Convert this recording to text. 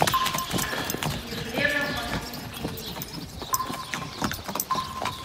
ефремов максим ильич